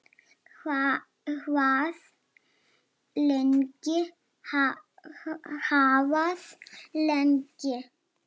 Hvað lengi, hvað lengi?